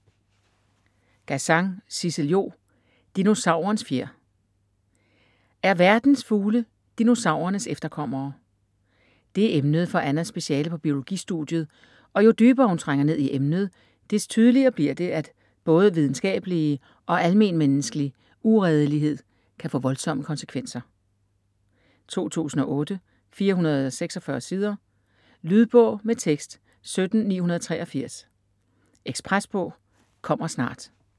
Gazan, Sissel-Jo: Dinosaurens fjer Er verdens fugle dinosaurernes efterkommere? Det er emnet for Annas speciale på biologistudiet, og jo dybere hun trænger ned i emnet, des tydeligere bliver det, at både videnskabelig og almenmenneskelig uredelighed kan få voldsomme konsekvenser. 2008, 446 sider. Lydbog med tekst 17983 Ekspresbog - kommer snart